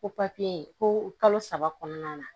Ko ko kalo saba kɔnɔna na